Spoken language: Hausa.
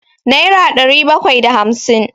naira ɗari bakwai da hamsin